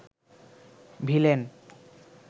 villain